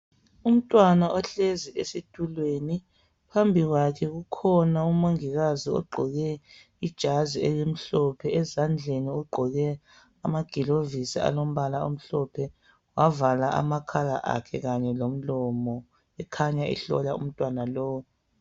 Umntwana ohlezi esitulweni phambi kwakhe kukhona umongikazi ogqoke ijazi elimhlophe ezandleni ugqoke amaglovisi alombala omhlophe wavala amakhala akhe kanye lomlomo ekhanya ehlola umntwana lo.